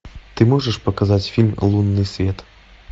ты можешь показать фильм лунный свет